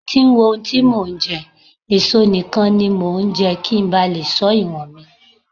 Mo ti ń wo ohun tí mò ń jẹ, èso nìkan ni mo ńjẹ́ kí ńba lè ṣọ́ ìwọ̀nmi.